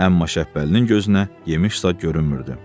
Əmma Şəppəlinin gözünə yemiş say görünmürdü.